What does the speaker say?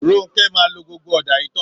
Ronke máa lo gbogbo ọ̀dá yìí tán